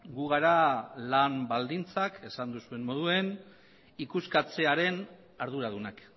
gu gara lan baldintzak esan duzuen moduen ikuskatzearen arduradunak